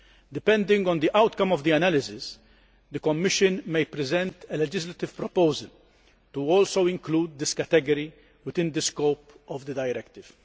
Depending on the outcome of the analysis, the Commission may present a legislative proposal to also include this category within the scope of the Directive.'